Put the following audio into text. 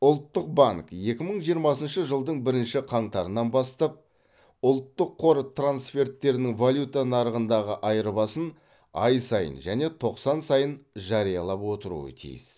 ұлттық банк екі мың жиырмасыншы жылдың бірінші қаңтарынан бастап ұлттық қор трансферттерінің валюта нарығындағы айырбасын ай сайын және тоқсан сайын жариялап отыруы тиіс